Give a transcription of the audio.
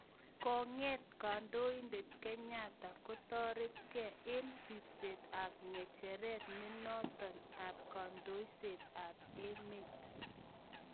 Kong�eet kandoindet Kenyatta kotoret gee eng� ribset ab ng�echeret nenotok ab kandoiset ab emet